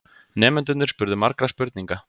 Nemendurnir spurðu margra spurninga.